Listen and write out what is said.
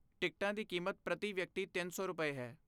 ਟਿਕਟਾਂ ਦੀ ਕੀਮਤ ਪ੍ਰਤੀ ਵਿਅਕਤੀ ਤਿੰਨ ਸੌ ਰੁਪਏ, ਹੈ